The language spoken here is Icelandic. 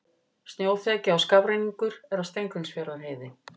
Snjóþekja og skafrenningur er á Steingrímsfjarðarheiði